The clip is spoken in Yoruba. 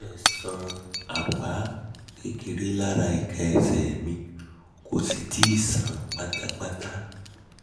o fẹ́rẹ̀ẹ́ sàn apá kékeré lára ika ese mi kò sì tíì sàn pátápátá